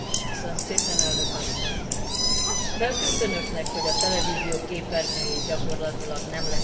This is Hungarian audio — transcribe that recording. Feltűnt Önöknek, hogy a televízió képernyőjén gyakorlatilag nem lehet 50 év fölötti bemondókat látni?